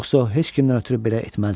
Yoxsa o heç kimdən ötrü belə etməzdi.